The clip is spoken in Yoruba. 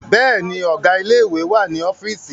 Bẹ́ẹ̀ni, Ọ̀gá ilé ìwé wà ní ọ́fíìsì